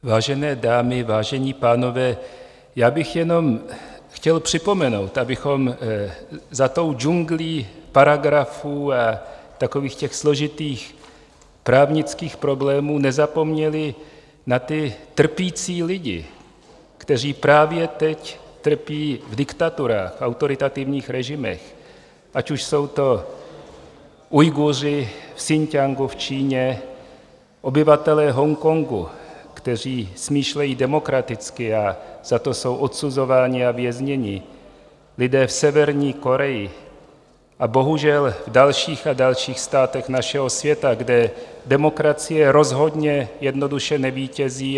Vážené dámy, vážení pánové, já bych jenom chtěl připomenout, abychom za tou džunglí paragrafů a takových těch složitých právnických problémů nezapomněli na ty trpící lidi, kteří právě teď trpí v diktaturách, autoritativních režimech, ať už jsou to Ujguři v Sin-ťiangu v Číně, obyvatelé Hongkongu, kteří smýšlejí demokraticky a za to jsou odsuzováni a vězněni, lidé v Severní Koreji a bohužel dalších a dalších státech našeho světa, kde demokracie rozhodně jednoduše nevítězí.